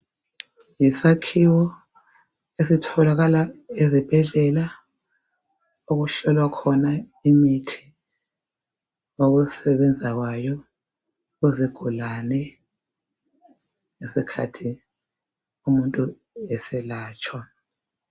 Yisakhiwo esitholakala ezibhedlela, okuhlolwa khona imithi lokusebenza kwayo kuzigulane ngesikhathi umuntu eselatshwa.